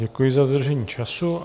Děkuji za dodržení času.